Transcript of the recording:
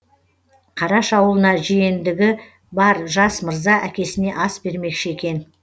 қараш аулына жиендігі бар жас мырза әкесіне ас бермекші екен